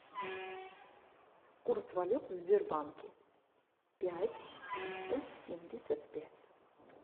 курс валют в сбербанке пять триста семьдесят пять